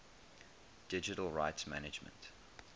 digital rights management